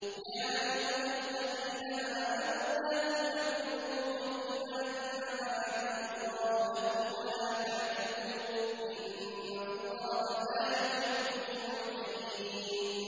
يَا أَيُّهَا الَّذِينَ آمَنُوا لَا تُحَرِّمُوا طَيِّبَاتِ مَا أَحَلَّ اللَّهُ لَكُمْ وَلَا تَعْتَدُوا ۚ إِنَّ اللَّهَ لَا يُحِبُّ الْمُعْتَدِينَ